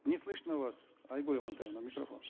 не слышно вас айгуль амантаевна микрофон